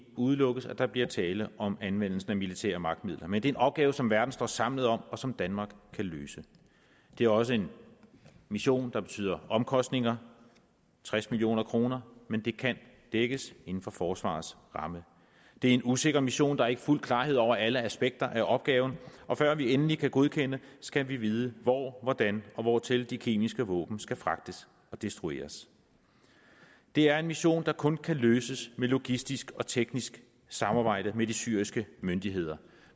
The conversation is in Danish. udelukkes at der bliver tale om anvendelse af militære magtmidler men det er en opgave som verden står samlet om og som danmark kan løse det er også en mission der betyder omkostninger tres million kr men det kan dækkes inden for forsvarets ramme det er en usikker mission der er ikke fuld klarhed over alle aspekter af opgaven og før vi endelig kan godkende skal vi vide hvor hvordan og hvortil de kemiske våben skal fragtes og destrueres det er en mission der kun kan løses med logistisk og teknisk samarbejde med de syriske myndigheder